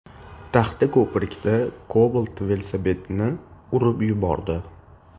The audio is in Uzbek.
Taxtako‘pirda Cobalt velosipedchini urib yubordi.